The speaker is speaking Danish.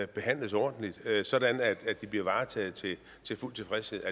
behandles ordentligt sådan at de bliver varetaget til fuld tilfredshed